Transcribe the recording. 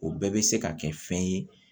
O bɛɛ bɛ se ka kɛ fɛn ye